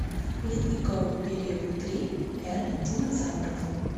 ледниковый период три эра динозавров